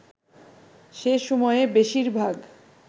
সে সময়ে বেশির ভাগ